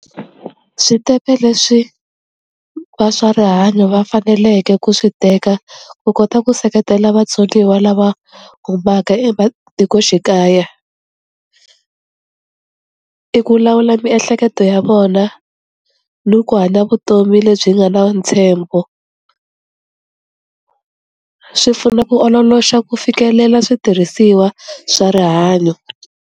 Switepe leswi va swa rihanyo va faneleke ku swi teka ku kota ku seketela vatsoniwa lava humaka ematikoxikaya, i ku lawula miehleketo ya vona ni ku hanya vutomi lebyi nga na ntshembo, swi pfuna ku ololoxa ku fikelela switirhisiwa swa rihanyo.